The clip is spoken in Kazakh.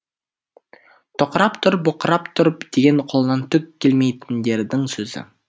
тоқырап тұр боқырап тұр деген қолынан түк келмейтіндердің сөзі